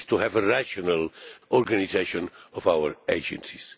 It is to have a rational organisation of our agencies.